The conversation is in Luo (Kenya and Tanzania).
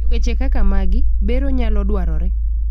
eweche kaka magi, bero nyalo dwarore